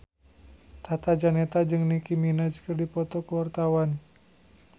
Tata Janeta jeung Nicky Minaj keur dipoto ku wartawan